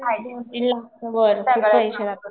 दोन तीन लाख च्या वरती पैसे जातात.